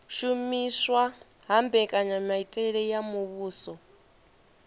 shumiswa ha mbekanyamitele ya muvhuso